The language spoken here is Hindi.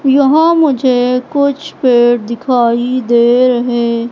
यहाँ मुझे कुछ पेड़ दिखाइ दे रहे--